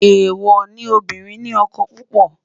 èwo ní obirin ní ókó púpò